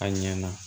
A ɲɛna